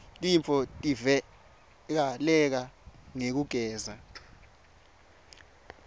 tifotivike leka ngekugeza